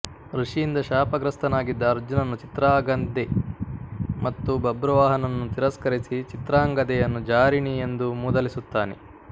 ಋಷಿಯಿಂದ ಶಾಪಗ್ರಸ್ಥನಾಗಿದ್ದ ಅರ್ಜುನನು ಚಿತ್ರಾಗಂದೆ ಮತ್ತು ಬಭ್ರುವಾಹನನನ್ನು ತಿರಸ್ಕರಿಸಿ ಚಿತ್ರಾಂಗದೆಯನ್ನು ಜಾರಿಣಿ ಎಂದು ಮೂದಲಿಸುತ್ತಾನೆ